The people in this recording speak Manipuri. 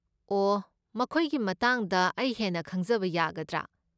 ꯑꯣꯍ, ꯃꯈꯣꯏꯒꯤ ꯃꯇꯥꯡꯗ ꯑꯩ ꯍꯦꯟꯅ ꯈꯪꯖꯕ ꯌꯥꯒꯗ꯭ꯔꯥ?